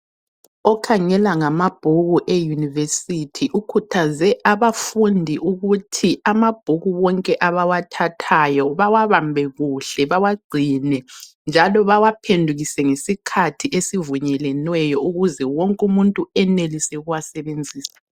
Okhangela ngamabhuku eyunivesithi ukhuthaze abafundi ukuthi amabhuku wonke abawathathayo bawabambe kuhle, bawagcine njalo bawaphendukise ngesikhathi esivunyelweneyo ukuze wonke umuntu enelise ukuwasebenzisa.